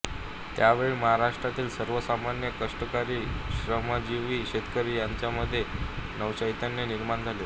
त्यावेळी महाराष्ट्रातील सर्व सामान्य कष्टकरी श्रमजीवी शेतकरी यांच्या मध्ये नवचैतन्य निर्माण झाले